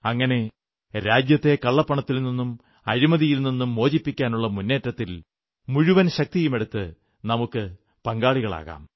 അങ്ങനെ രാജ്യത്തെ കള്ളപ്പണത്തിൽ നിന്നും അഴിമതിയിൽ നിന്നും മോചിപ്പിക്കാനുള്ള മുന്നേറ്റത്തിൽ മുഴുവൻ ശക്തിയുമെടുത്ത് നമുക്ക് പങ്കാളികാളാകാം